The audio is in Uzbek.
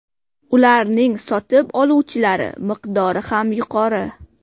Ularning sotib oluvchilari miqdori ham yuqori.